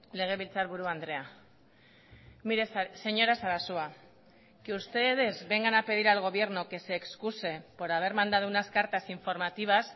legebiltzarburu andrea mire señora sarasua que ustedes vengan a pedir al gobierno que se excuse por haber mandado unas cartas informativas